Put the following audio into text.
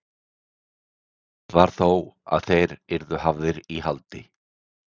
Sennilegast var þó að þeir yrðu hafðir í haldi.